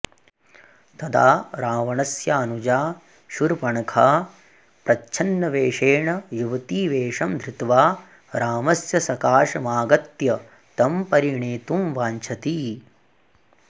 तदा रावणस्यानुजा शूर्पणखा प्रच्छन्नवेषेण युवतीवेषं धृत्वा रामस्य सकाशमागत्य तं परिणेतुं वाञ्छति